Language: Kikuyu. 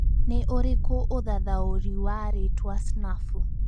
nĩ ũrikũ ũthathaũri wa rĩtwa snafu